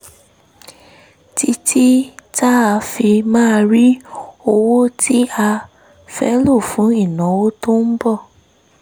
títí tá a fi máa rí owó tí a fẹ́ lò fún ìnáwó tó ń bọ̀